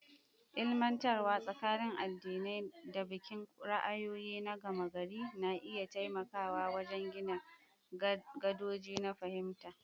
Ilmantarwa tsakanin addinai da bikin ra'ayoyi na gama gari na iya taimakawa wajen gina gadoji na fahimta.